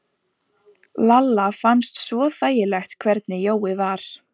Lalla fannst svo þægilegt hvernig Jói var.